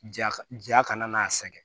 Ja ka ja kana n'a sɛgɛn